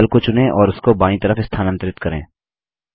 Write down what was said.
बादल को चुनें और उसको बायीं तरफ स्थानांतरित करें